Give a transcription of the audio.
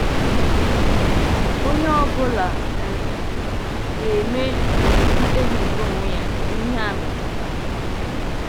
Onye ọ bụla um ga-eme um mkpebi nke onwe ya n’ihe a metụtara.